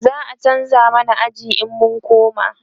za'a chanza mana aji in mun koma